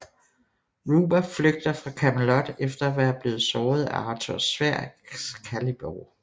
Ruber flygter fra Camelot efter at være blevet såret af Arthurs sværd Excalibur